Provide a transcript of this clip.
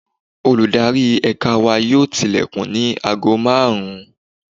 Olùdarí Ẹ̀ka wa yóò tilẹ̀kùn ní aago márùn-ún.